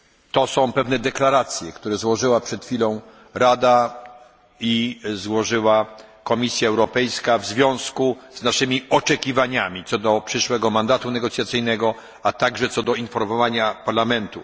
To są pewne deklaracje, które złożyły przed chwilą Rada i Komisja Europejska w związku z naszymi oczekiwaniami co do przyszłego mandatu negocjacyjnego, a także co do informowania Parlamentu.